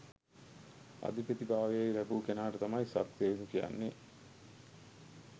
අධිපති භාවය ලැබූ කෙනාට තමයි සක් දෙවිඳු කියන්නේ